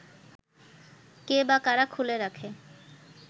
কে বা কারা খুলে রাখে